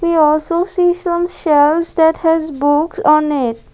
we also see some shelves that has books on it.